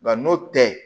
Nka n'o tɛ